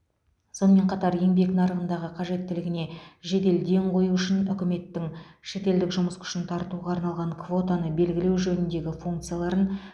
сонымен қатар еңбек нарығындағы қажеттілігіне жедел ден қою үшін үкіметтің шетелдік жұмыс күшін тартуға арналған квотаны белгілеу жөніндегі функцияларын